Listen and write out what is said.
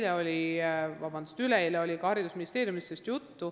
Meil oli üleeile ka haridusministeeriumis sellest juttu.